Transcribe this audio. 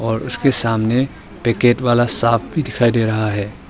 और उसके सामने पैकेट वाला साफ भी दिखाई दे रहा है।